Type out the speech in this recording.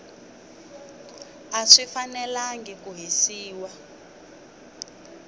a swi fanelangi ku hisiwa